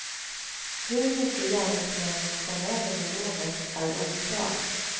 Hur mycket gärningsmännen kom över vid rånet är oklart.